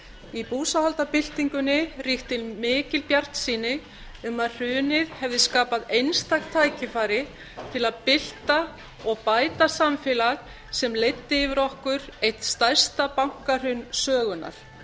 í búsáhaldabyltingunni ríkti mikil bjartsýni um að hrunið hefði skapað einstakt tækifæri til að bylta bæta samfélag sem leiddi yfir ekki eitt stærsta bankahrun sögunnar